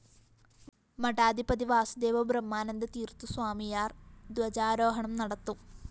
മഠാധിപതി വാസുദേവ ബ്രഹ്മാനന്ദ തീര്‍ത്ഥസ്വാമിയാര്‍ ധ്വജാരോഹണം നടത്തും